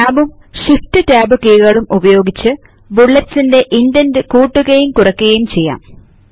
Tabഉം shift tab കികളും ഉപയോഗിച്ച് ബുല്ലെറ്റ്സിന്റെ ഇന്ടെന്റ്റ് കൂട്ടുകയും കുറയ്ക്കുകയും ചെയ്യാം